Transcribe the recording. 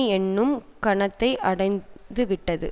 என்னும் கணத்தை அடைந்துவிட்டது